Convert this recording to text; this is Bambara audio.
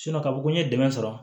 ka fɔ ko n ye dɛmɛ sɔrɔ